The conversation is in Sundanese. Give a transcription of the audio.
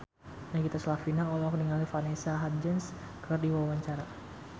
Nagita Slavina olohok ningali Vanessa Hudgens keur diwawancara